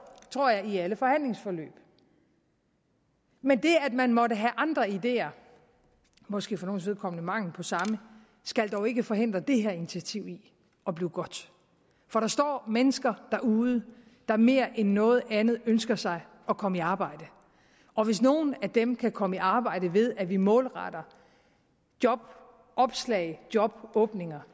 tror jeg i alle forhandlingsforløb men det at man måtte have andre ideer måske for nogles vedkommende mangel på samme skal dog ikke forhindre det her initiativ i at blive godt for der står mennesker derude der mere end noget andet ønsker sig at komme i arbejde og hvis nogle af dem kan komme i arbejde ved at vi målretter jobopslag og jobåbninger